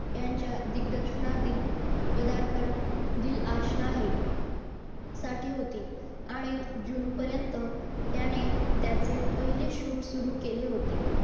यांच्या दिग्दर्शनातील पदार्पण पुढील भाषण आहे साठी होती आणि जून पर्यंत त्याने त्याचे पहिले shoot सुरू केले होते.